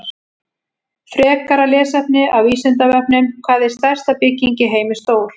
Frekra lesefni af Vísindavefnum: Hvað er stærsta bygging í heimi stór?